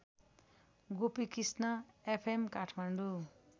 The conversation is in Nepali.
गोपीकृष्ण एफएम काठमाडौँ